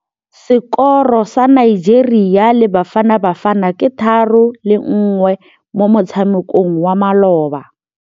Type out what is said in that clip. Sekôrô sa Nigeria le Bafanabafana ke 3-1 mo motshamekong wa malôba.